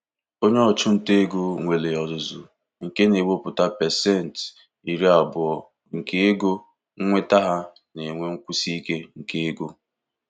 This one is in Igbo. Onye ọchụnta ego nwere ọzụzụ nke na-ewepụta pasentị iri abụọ nke ego nnweta ha na-enwe nkwụsi ike nke ego.